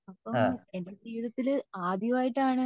അപ്പൊ എന്റെ ജീവിതത്തിൽ ആദ്യമായിട്ടാണ്